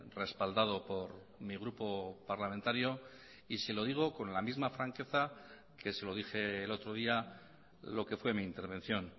respaldado por mi grupo parlamentario y se lo digo con la misma franqueza que se lo dije el otro día lo que fue mi intervención